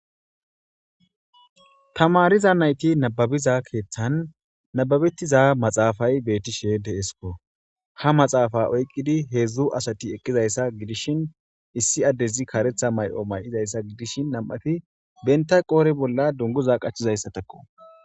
tamariza nayti nababiza keeththan nababettiza maxaafay beettishe de7esko ha maxaafa oyqqidi heedzdzu asati eqqizayssa gidishin issi addezi karetha mayo may'izayssa gidishi nam'afi benta qoore bolla dunguza qachizayssa takko